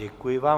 Děkuji vám.